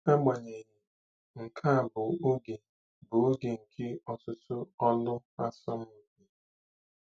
Agbanyeghị, nke a bụ oge bụ oge nke ọtụtụ olu asọmpi.